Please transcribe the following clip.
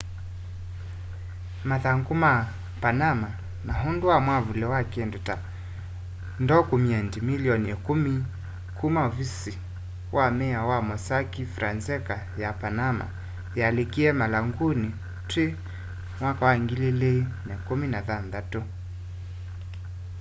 mathangu ma panama” ni undu wa mwavuli wa kindu ta ndokyumendi milioni ikumi kuma ovisi wa miao wa mossack fonseca ya panamana yalikíie marhanguni twi 2016